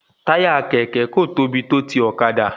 Táyà kẹ̀kẹ́ kò tóbi tó ti ọ̀kadà